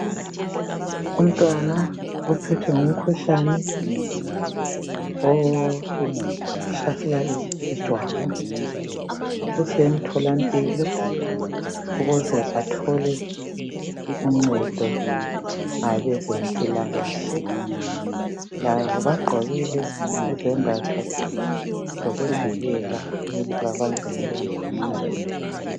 Umntwana uphethwe ngumkhuhlane ohlasela ijwabu. Usemtholampilo ukuze athole uncedo ngabezempilokahle labo bagqokile izembatho zokuvikela ukuthi babanjwe ngulowo mkhuhlane.